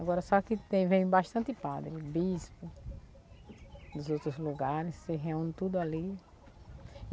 Agora só que tem, vem bastante padre, bispo, dos outros lugares, se reúne tudo ali.